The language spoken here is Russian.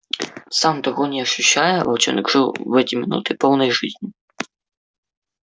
сам того не ощущая волчонок жил в эти минуты полной жизнью